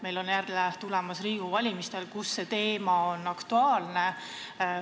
Meil on jälle tulemas Riigikogu valimised, millega seoses see teema on aktuaalne.